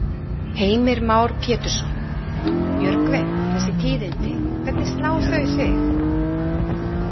Heimir Már Pétursson: Björgvin, þessi tíðindi, hvernig slá þau þig?